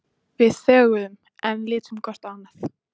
Við þögðum enn, litum hvort á annað.